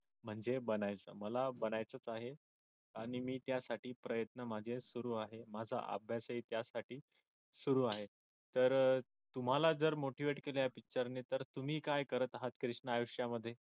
म्हणजे बनायचं मला बनायचच आहे आणि मी त्यासाठी प्रयत्न माझे सुरू आहे माझा अभ्यासही त्यासाठी सुरू आहे तर तुम्हाला जर motivate केले असते तर तुम्ही काय करत आहात कृष्णा आयुष्यामध्ये